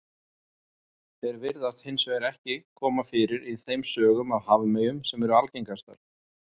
Þeir virðast hins vegar ekki koma fyrir í þeim sögum af hafmeyjum sem eru algengastar.